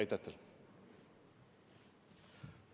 Aitäh teile!